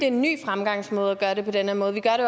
en ny fremgangsmåde at gøre det på den her måde vi gør det